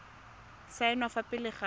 go saenwa fa pele ga